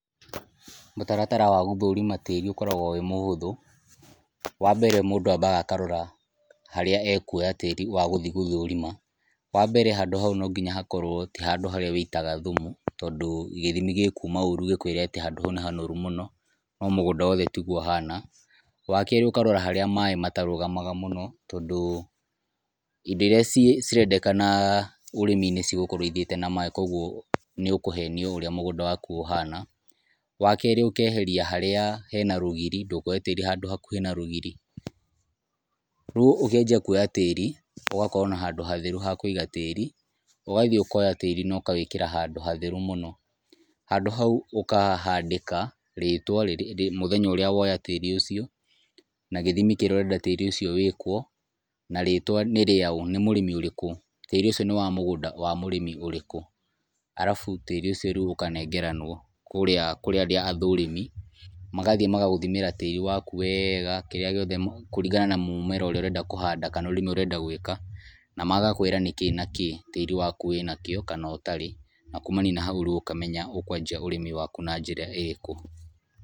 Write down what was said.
Mũtaratara wa gũthũrima tĩri ũkoragwo wĩ mũhũthũ. Wa mbere mũndũ ambaga akarora harĩa ekuoya tĩri wa gũthi gũthũrima, wa mbere handũ hau no nginya hakorwo ti handũ harĩa wĩitaga thumu, tondũ gĩthimi gĩkuma ũũru gĩkwĩre handũ hau nĩ hanoru mũno, no mũgũnda wothe tiguo ũhana. Wa keerĩ ũkarora harĩa maĩ matarũgamaga mũno, tondũ indo irĩa cirendekana ũrĩmi-inĩ cigũkorwo ithiĩte na maĩ, koguo nĩ ũkũhenio ũrĩa mũgũnda waku ũhana. Wa keerĩ ũkeheria harĩa hena rũgiri, ndũkoye tĩri handũ hakuhĩ na rũgiri. Rĩu ũkĩanjia kuoya tĩri, ũgakorwo na handũ hatheru ha kũiga tĩri, ũgathiĩ ũkoya tĩri na ũkawĩkĩra handũ hatheru mũno. Handũ hau ũkahandĩka rĩtwa rĩrĩa mũthenya ũrĩa woya tĩri ũcio, na gĩthimi kĩri na tĩri ũcio wĩkwo, na rĩtwa nĩ rĩaũ nĩ mũrĩmi ũrĩkũ. Tĩri ũcio nĩ wa mũgũnda wa mũrĩmi ũrĩkũ. Arabu tĩri ũcio ũkanengeranwo kũrĩa kũrĩ arĩa athũrĩmi, magathiĩ magagũthimĩra tĩri waku wega, kĩrĩa gĩothe kũringana na mũmera ũrĩa ũrenda kũhanda kana ũrĩmi ũrĩa ũrenda gũĩka. Na magakwĩra nĩ kĩ na kĩ tĩri waku wĩnakĩo kana ũtarĩ. Na kumania na hau ũkamenya ũkũanjia ũrĩmi waku na njĩra ĩrĩkũ.